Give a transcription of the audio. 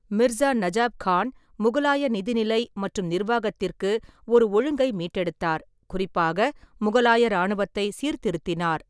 மிர்ஸா நஜாப் கான் முகலாய நிதிநிலை மற்றும் நிர்வாகத்திற்கு ஒரு ஒழுங்கை மீட்டெடுத்தார், குறிப்பாக முகலாய இராணுவத்தை சீர்திருத்தினார்.